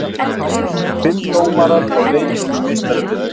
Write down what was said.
Fimm dómarar á leikjum í Meistaradeildinni